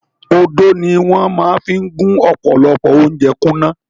Odó ni wọ́n máa fi gún ọ̀pọ̀lọpọ̀ ounjẹ kúnná.